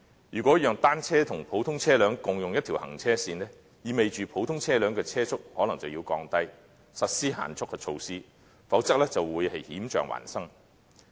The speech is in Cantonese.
如果讓單車和普通車輛共用一條行車線，意味着普通車輛的車速可能要降低，並實施限速的措施，否則便會險象環生。